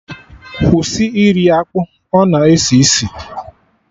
Kwụsị iri akpụ, ọ na esi isi!